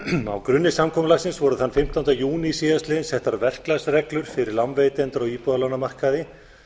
á grunni samkomulagsins voru þann fimmtánda júní síðastliðinn settar verklagsreglur fyrir lánveitendur á íbúðalánamarkaði